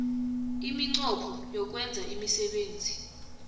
iminqopho yokwenza imisebenzi